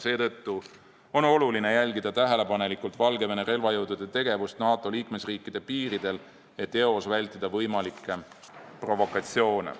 Seetõttu on oluline jälgida tähelepanelikult Valgevene relvajõudude tegevust NATO liikmesriikide piiridel, et eos vältida võimalikke provokatsioone.